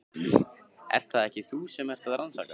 Ert það ekki þú sem ert að rannsaka.